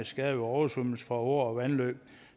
skader ved oversvømmelser fra åer og vandløb